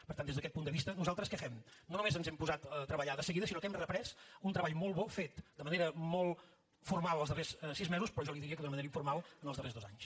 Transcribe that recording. per tant des d’aquest punt de vista nosaltres què fem no només ens hem posat a treballar de seguida sinó que hem reprès un treball molt bo fet de manera molt formal els darrers sis mesos però jo li diria que d’una manera informal en els darrers dos anys